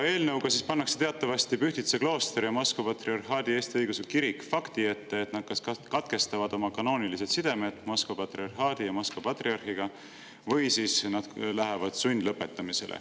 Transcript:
Teatavasti pannakse eelnõuga Pühtitsa klooster ja Moskva Patriarhaadi Eesti Õigeusu Kirik fakti ette, et nad kas katkestavad oma kanoonilised sidemed Moskva patriarhaadi ja Moskva patriarhiga või nad lähevad sundlõpetamisele.